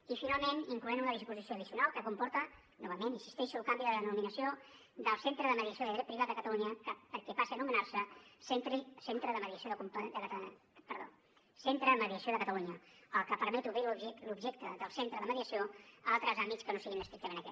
i finalment inclou una disposició addicional que comporta novament hi insisteixo el canvi de denominació del centre de mediació de dret privat de catalunya perquè passi a anomenar se centre de mediació de catalunya el que permet obrir l’objecte del centre de mediació a altres àmbits que no siguin estrictament aquest